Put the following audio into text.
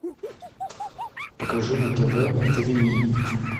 покажи на тв тв ми